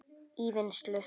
í vinnslu